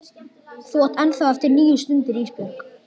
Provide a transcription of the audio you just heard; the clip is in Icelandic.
Þú átt ennþá eftir níu stundir Ísbjörg.